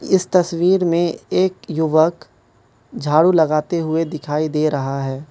इस तस्वीर में एक युवक झाड़ू लगाते हुए दिखाई दे रहा है।